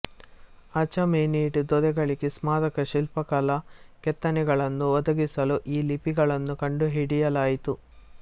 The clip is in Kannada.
ಅಚಾಮೆನಿಡ್ ದೊರೆಗಳಿಗೆ ಸ್ಮಾರಕ ಶಿಲ್ಪ ಕಲಾ ಕೆತ್ತನೆಗಳನ್ನು ಒದಗಿಸಲು ಈ ಲಿಪಿಗಳನ್ನು ಕಂಡುಹಿಡಿಯಲಾಯಿತು